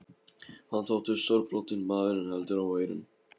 Hann þótti stórbrotinn maður en heldur óeirinn.